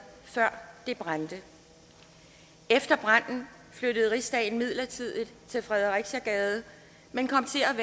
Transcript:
før det brændte efter branden flyttede rigsdagen midlertidigt til fredericiagade men kom til at